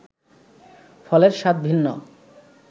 ফলের স্বাদ ভিন্ন